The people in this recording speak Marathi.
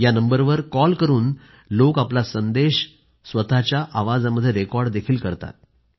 या नंबरवर कॉल करून लोक आपला संदेश आपल्या आवाजामध्ये रेकॉर्डही करतात